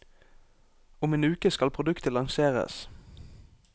Om en uke skal produktet lanseres.